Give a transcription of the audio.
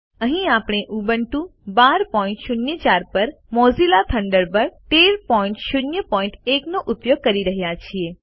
અહીં આપણે ઉબુન્ટુ 1204 પર મોઝિલા થન્ડરબર્ડ 1301 નો ઉપયોગ કરી રહ્યા છીએ